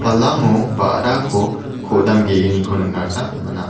ba·rako ko·dam ge·gniko nikna gita man·a.